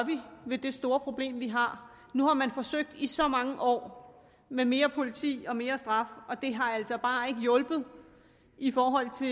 ved det store problem vi har nu har man forsøgt i så mange år med mere politi og mere straf og det har altså bare ikke hjulpet i forhold til